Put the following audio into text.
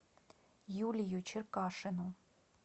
юлию черкашину